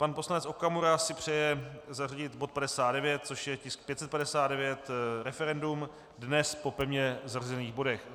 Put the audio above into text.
Pan poslanec Okamura si přeje zařadit bod 59, což je tisk 559, referendum, dnes po pevně zařazených bodech.